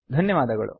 ಧನ್ಯವಾದಗಳು